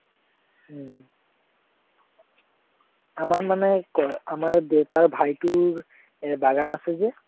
আমাৰ মানে এৰ আমাৰ দেতাৰ ভাইটোৰ এৰ বাগান আছে যে